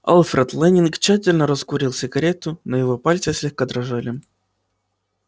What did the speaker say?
алфред лэннинг тщательно раскурил сигарету но его пальцы слегка дрожали